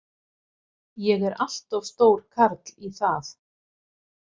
Ég er allt of stór karl í það.